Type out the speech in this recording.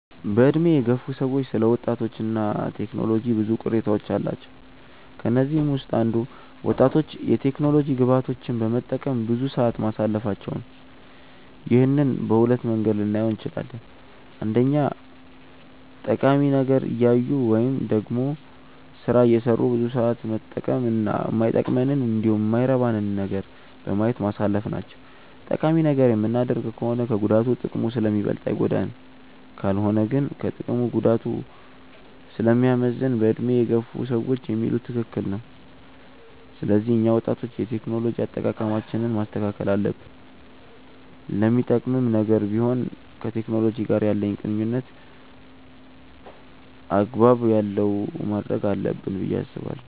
በዕድሜ የገፉ ሰዎች ስለ ወጣቶች እና ቴክኖሎጂ ብዙ ቅሬታዎች አሏቸው። ከነዚህም ውስጥ አንዱ ወጣቶች የቴክኖሎጂ ግብአቶችን በመጠቀም ብዙ ሰዓት ማሳለፋቸው ነው። ይህንን በሁለት መንገድ ልናየው እንችላለን። አንደኛ ጠቃሚ ነገር እያዩ ወይም ደግሞ ስራ እየሰሩ ብዙ ሰዓት መጠቀም እና ማይጠቅመንንን እንዲሁም የማይረባ ነገርን በማየት ማሳለፍ ናቸው። ጠቃሚ ነገር የምናደርግ ከሆነ ከጉዳቱ ጥቅሙ ስለሚበልጥ አይጎዳንም። ካልሆነ ግን ከጥቅሙ ጉዳቱ ስለሚያመዝን በዕድሜ የገፉ ሰዎች የሚሉት ትክክል ነው። ስለዚህ እኛ ወጣቶች የቴክኖሎጂ አጠቃቀማችንን ማስተካከል አለብን። ለሚጠቅምም ነገር ቢሆን ከቴክኖሎጂ ጋር ያለንን ቁርኝነት አግባብ ያለው ማድረግ አለብን ብዬ አስባለሁ።